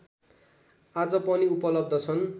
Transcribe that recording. आज पनि उपलब्ध छन्